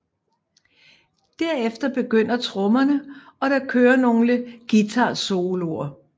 Derefter begynder trommerne og der kører nogle guitarsoloer